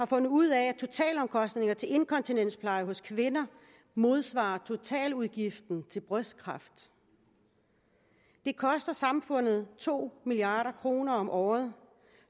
fundet ud af at totalomkostningerne til inkontinenspleje hos kvinder modsvarer totaludgiften til brystkræft det koster samfundet to milliard kroner om året